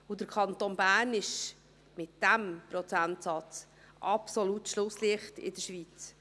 Der Kanton Bern ist mit diesem Prozentsatz das absolute Schlusslicht in der Schweiz.